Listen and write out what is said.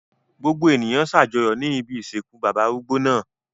Gbogbo ènìyàn ṣàjọyọ̀ ní ibi ìsìnkú bàbá arúgbó náà.